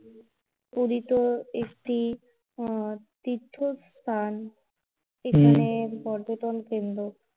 পুরী তো আহ একটি তীর্থ স্থান এর এখানের পর্যটন কেন্দ্র